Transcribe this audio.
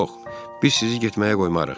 Yox, biz sizi getməyə qoymarıq.